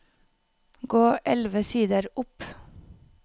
Gå elleve sider opp